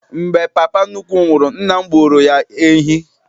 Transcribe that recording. Mgbe papa nnukwu m nwụrụ, nna m gbuoro ya ehi.